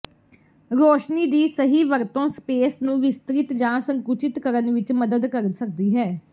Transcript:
ਰੋਸ਼ਨੀ ਦੀ ਸਹੀ ਵਰਤੋਂ ਸਪੇਸ ਨੂੰ ਵਿਸਤ੍ਰਿਤ ਜਾਂ ਸੰਕੁਚਿਤ ਕਰਨ ਵਿੱਚ ਮਦਦ ਕਰ ਸਕਦੀ ਹੈ